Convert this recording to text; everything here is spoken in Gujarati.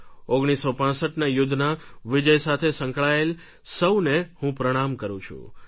1965ના યુદ્ધના વિજય સાથે સંકળાયેલા સૌને હું પ્રણામ કરું છું